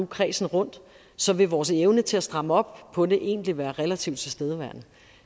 kredsen rundt så vil vores evne til at stramme op på det egentlig være relativt tilstedeværende